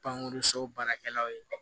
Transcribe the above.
Pankurun so baarakɛlaw ye